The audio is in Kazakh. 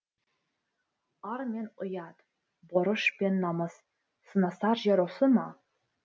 ар мен ұят борыш пен намыс сынасар жер осы ма